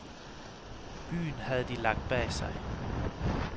Byen havde de lagt bag sig.